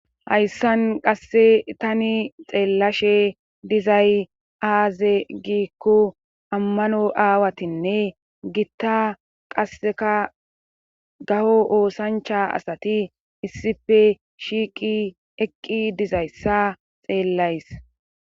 Hayssan qasse tani xeellashe dizay aaze giikko ammano aawatinne gitta qasseka gaho oosancha asati issipe shiiqi eqqi dizayssa xeellays.